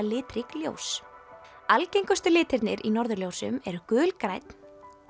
litrík ljós algengustu litirnir í norðurljósum eru gulgrænn